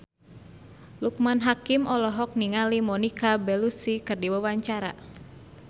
Loekman Hakim olohok ningali Monica Belluci keur diwawancara